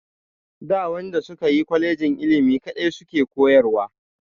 Da waɗanda suka yi kolejin ilimi kaɗai su ke koyarwa.